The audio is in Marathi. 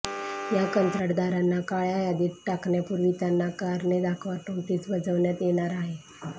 या कंत्राटदारांना काळ्या यादीत टाकण्यापूर्वी त्यांना कारणे दाखवा नोटीस बजावण्यात येणार आहे